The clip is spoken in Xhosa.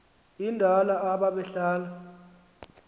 endala aba behlala